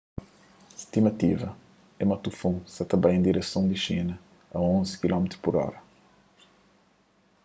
stimativa é ma tufon sa ta bai en direson di xina a onzi kph